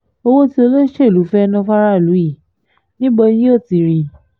owó tí olóṣèlú fẹ́ẹ́ ná fáráàlú yìí níbo ni yóò ti rí i